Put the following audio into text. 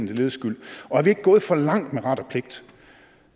lediges skyld og er vi ikke gået for langt med ret og pligt